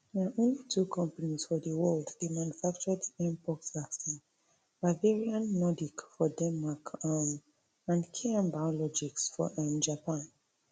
na only two companies for di world dey manufacture di mpox vaccine bavarian nordic for denmark um and km biologics for um japan